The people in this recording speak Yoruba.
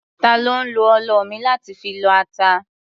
Ta ló ń lo ọlọ mi láti fi lọ ata?